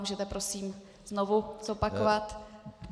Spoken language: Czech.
Můžete prosím znovu zopakovat?